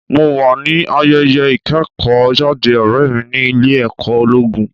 Mo wà ní ayẹyẹ ìkẹ́kọ̀ọ́ jáde ọ̀rẹ́ mi ní ilé ẹ̀kọ́ ológun.